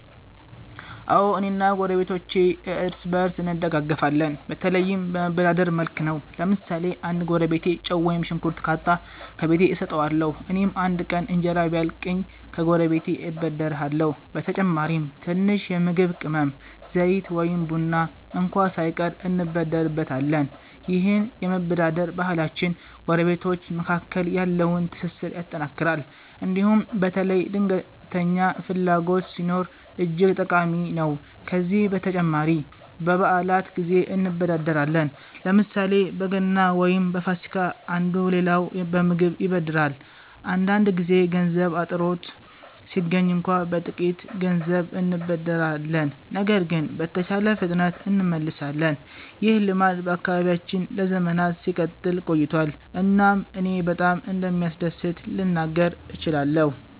አዎ፣ እኔ እና ጎረቤቶቼ እርስ በእርስ እንደጋፈፋለን፤ በተለይም በመበዳደር መልክ ነው። ለምሳሌ አንድ ጎረቤቴ ጨው ወይም ሽንኩርት ካጣ፣ ከቤቴ እሰጠዋለሁ። እኔም አንድ ቀን እንጀራ ቢያልቅኝ ከጎረቤቴ እበደርሃለሁ። በተጨማሪም ትንሽ የምግብ ቅመም፣ ዘይት ወይም ቡና እንኳ ሳይቀር እንበደርበታለን። ይህ የመበዳደር ባህላችን ጎረቤቶች መካከል ያለውን ትስስር ያጠናክራል እንዲሁም በተለይ ድንገተኛ ፍላጎት ሲኖር እጅግ ጠቃሚ ነው። ከዚህ በተጨማሪ በበዓላት ጊዜ እንበዳደራለን፤ ለምሳሌ በገና ወይም በፋሲካ አንዱ ሌላውን በምግብ ይበድራል። አንዳንድ ጊዜ ገንዘብ አጥርቶ ሲገኝ እንኳ በጥቂት ገንዘብ እንበዳደራለን ነገር ግን በተቻለ ፍጥነት እንመልሳለን። ይህ ልማድ በአካባቢያችን ለዘመናት ሲቀጥል ቆይቷል እናም እኔ በጣም እንደሚያስደስት ልናገር እችላለሁ።